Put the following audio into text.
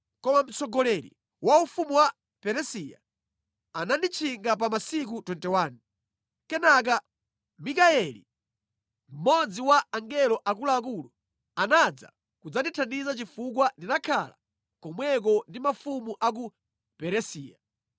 Koma mtsogoleri wa ufumu wa Peresiya ananditchingira pa masiku 21, kenaka Mikayeli, mmodzi mwa angelo akuluakulu anadza kudzandithandiza chifukwa ndinakhala komweko ndi mafumu a ku Peresiya.